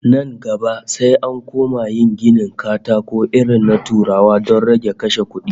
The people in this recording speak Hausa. Nan gaba sai an koma yin ginin katakon irin na Turawa don rage kashe kudi